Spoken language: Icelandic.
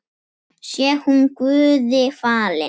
Sé hún Guði falin.